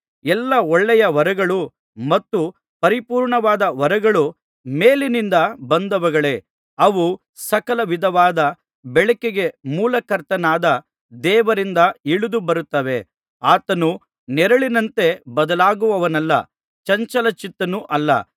ಎಲ್ಲಾ ಒಳ್ಳೆಯ ವರಗಳು ಮತ್ತು ಪರಿಪೂರ್ಣವಾದ ವರಗಳು ಮೇಲಿನಿಂದ ಬಂದವುಗಳೇ ಅವು ಸಕಲ ವಿಧವಾದ ಬೆಳಕಿಗೆ ಮೂಲಕರ್ತನಾದ ದೇವರಿಂದ ಇಳಿದು ಬರುತ್ತವೆ ಆತನು ನೆರಳಿನಂತೆ ಬದಲಾಗುವವನಲ್ಲ ಚಂಚಲಚಿತ್ತನೂ ಅಲ್ಲ